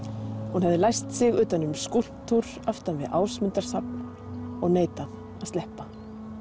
hún hafði læst sig utan um skúlptúr aftan við Ásmundarsafn og neitað að sleppa